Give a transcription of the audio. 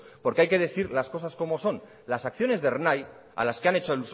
porque hay que decir las cosas como son las acciones de ernai a las que han hecho